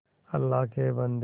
अल्लाह के बन्दे